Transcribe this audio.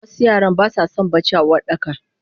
Wasu yaran basason bacci a Uwardaka.